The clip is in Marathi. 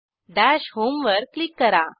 दश होम वर क्लिक करा